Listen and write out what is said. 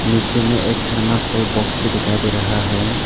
नीचे में एक थर्माकोल बॉक्स भी दिखाई दे रहा है।